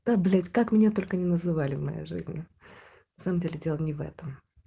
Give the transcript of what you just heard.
да блять как меня только не называли в моей жизни на самом деле дело не в этом